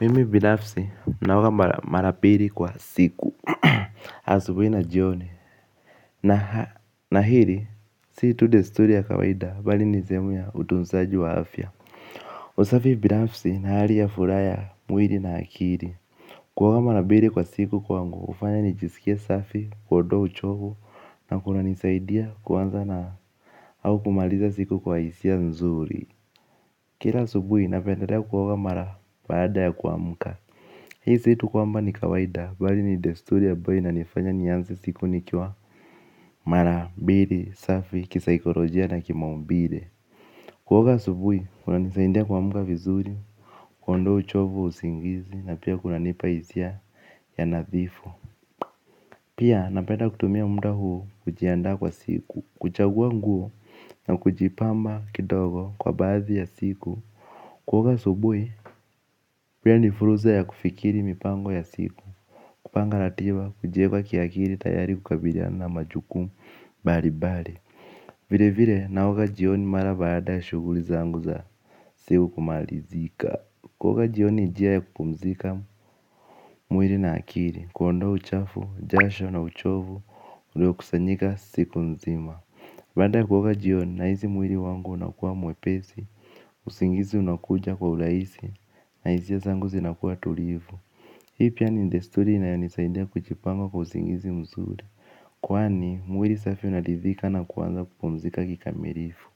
Mimi binafsi naoga mara bili kwa siku, asubui na jioni. Na hili, si tu desturi ya kawaida bali ni sehemu ya utunzaji wa afya. Usafi binafsi ni hali ya furaha mwili na akili. Kuoga mara bili kwa siku kwangu hufanya nijisikie safi kuondoa uchovu. Na kuna nisaidia kuanza na au kumaliza siku kwa hisia nzuri. Kila asubuhi na pendelea kuoga mara baada ya kuamka hi si tu kwamba ni kawaida bali ni desturi ambayo inanifanya nianze siku nikiwa mara mbili safi ki psychologia na ki maumbile. Kuoga asubuhi, kunanisaindia kuamka vizuri, kuondoa uchovu wa usingizi, na pia kunanipa hisia ya nadhifu. Pia, napeda kutumia muda huu kujianda kwa siku, kuchagua nguo na kujipamba kidogo kwa baadhi ya siku. Kuoga asubuhi, pia ni fursa ya kufikiri mipango ya siku. Kupanga ratiba, kujiweka akili tayari kukabiliana majukumu, mbali mbali. Vile vile, naoga jioni mara baada ya shughuli zangu za siku kumalizika. Kuoga jioni, ni njia ya kupumzika mwili na akili, kuondoa uchafu, jasho na uchovu, ulio kusanyika siku nzima baada ya kuoga jioni, na hisi mwili wangu unakuwa mwepesi usingizi unakuja kwa urahisi na hisia zangu zinakuwa tulivu, hii pia ni desturi inayonisaidia kujipanga kwa usingizi mzuri, kwani mwili safi unaridhika na kuanza kupumzika kikamilifu